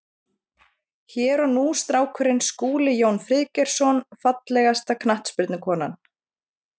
Hér og nú strákurinn Skúli Jón Friðgeirsson Fallegasta knattspyrnukonan?